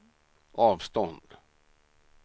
avstånd